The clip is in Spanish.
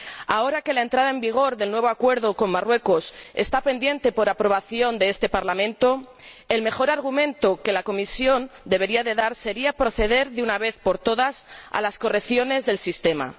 Ahora que la entrada en vigor del nuevo Acuerdo con Marruecos está pendiente de la aprobación de este Parlamento, el mejor argumento que la Comisión debería dar sería proceder, de una vez por todas, a las correcciones del sistema.